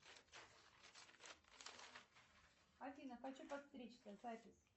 афина хочу подстричься запись